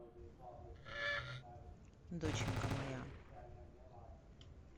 доченька моя